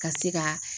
Ka se ka